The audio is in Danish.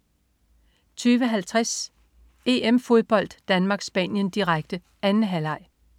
20.50 EM-Fodbold: Danmark-Spanien, direkte. 2. halvleg